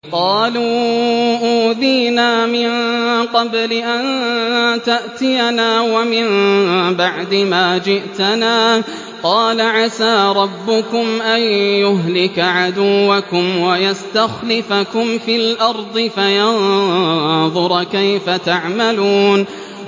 قَالُوا أُوذِينَا مِن قَبْلِ أَن تَأْتِيَنَا وَمِن بَعْدِ مَا جِئْتَنَا ۚ قَالَ عَسَىٰ رَبُّكُمْ أَن يُهْلِكَ عَدُوَّكُمْ وَيَسْتَخْلِفَكُمْ فِي الْأَرْضِ فَيَنظُرَ كَيْفَ تَعْمَلُونَ